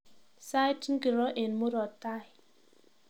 Sait ngiro eng murop tai